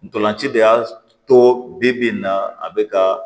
Ntolan ci de y'a to bi bi in na a bɛ ka